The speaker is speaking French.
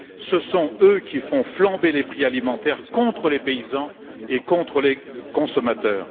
Ce sont eux qui font flamber les prix alimentaires contre les paysans et contre les consommateurs.